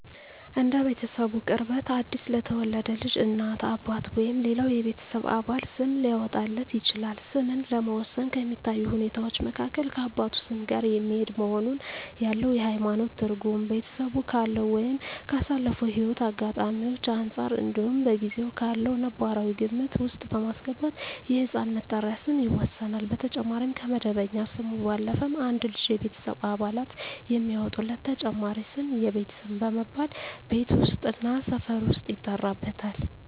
እንደ ቤተሰቡ ቅርበት አዲስ ለተወለደ ልጅ እናት፣ አባት ወይም ሌላው የቤተሰብ አባል ስም ሊያወጣለት ይችላል። ስምን ለመወሰን ከሚታዩ ሁኔታወች መካከል ከአባቱ ስም ጋር የሚሄድ መሆኑን፣ ያለው የሀይማኖት ትርጉም፣ ቤተሰቡ ካለው ወይም ካሳለፈው ህይወት አጋጣሚወች አንፃር እንዲሁም በጊዜው ካለው ነባራዊ ግምት ውስጥ በማስገባት የህፃን መጠሪያ ስም ይወሰናል። በተጨማሪም ከመደበኛ ስሙ ባለፈም አንድ ልጅ የቤተሰብ አባላት የሚያወጡለት ተጨማሪ ስም የቤት ስም በመባል ቤት ውስጥ እና ሰፈር ውስጥ ይጠራበታል።